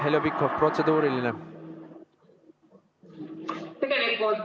Heljo Pikhof, protseduuriline küsimus.